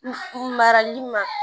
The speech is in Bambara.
N marali ma